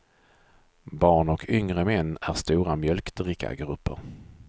Barn och yngre män är stora mjölkdrickargrupper.